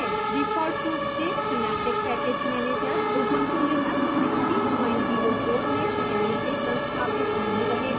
default रूप से synaptic package manager ubuntu linux 1604 में पहले से संस्थापित नहीं रहेगा